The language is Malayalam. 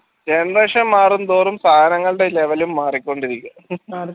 generation മാറും തോറും സേനകളുടെ level മാറിക്കൊണ്ടിരിക്കും